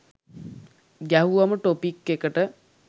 ගැහුවම topic එකට